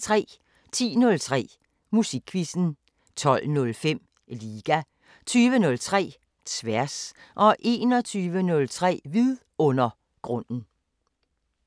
10:03: Musikquizzen 12:05: Liga 20:03: Tværs 21:03: Vidundergrunden